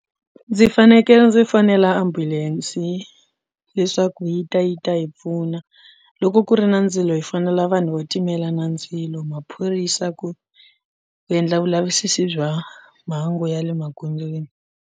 Ndzi fanekele ndzi fonela ambulense leswaku yi ta yi ta yi pfuna loko ku ri na ndzilo hi fonela vanhu vo timela na ndzilo maphorisa ku endla vulavisisi bya mhangu ya le magondzweni.